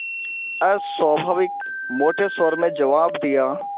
अस्वाभाविक मोटे स्वर में जवाब दिया